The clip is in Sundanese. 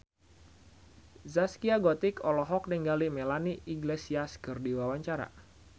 Zaskia Gotik olohok ningali Melanie Iglesias keur diwawancara